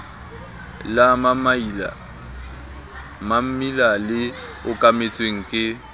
la mammila le okametsweng ke